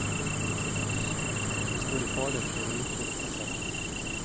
De står i fare for å utrydde seg selv.